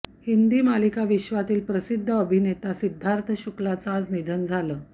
हिंदी मालिकाविश्वातील प्रसिद्ध अभिनेता सिद्धार्थ शुक्लाचं आज निधन झालं